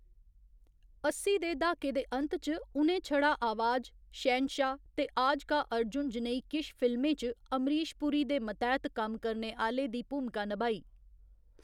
अस्सी दे द्हाके दे अंत च, उ'नें छड़ा आवाज, शहंशाह ते आज का अर्जुन जनेही किश फिल्में च अमरीश पुरी दे मतैह्‌‌‌त कम्म करने आह्‌‌‌ले दी भूमिका नभाई।